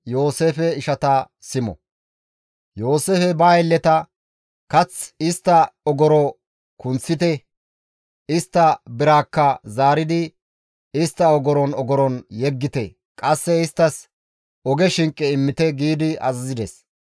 Yooseefey ba aylleta, «Kath istta ogoro kunththite; istta biraakka zaaridi istta ogoron ogoron yeggite; qasse isttas oge shinqe immite» gi azazides.